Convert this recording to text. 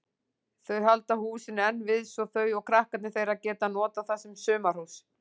Þau halda húsinu enn við svo þau og krakkarnir þeirra geta notað það sem sumarhús.